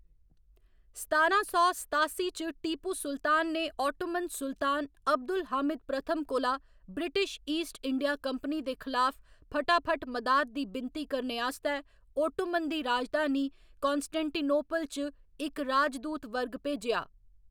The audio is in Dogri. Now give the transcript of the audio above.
सतारां सौ सतासी च, टीपू सुल्तान ने ओटोमन सुल्तान अब्दुल हामिद प्रथम कोला ब्रिटिश ईस्ट इंडिया कंपनी दे खलाफ फटाफट मदाद दी विनती करने आस्तै ओटोमन दी राजधानी कान्स्टेंटिनोपल च इक राजदूत वर्ग भेजेआ।